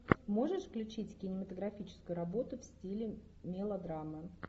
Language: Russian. можешь включить кинематографическую работу в стиле мелодрамы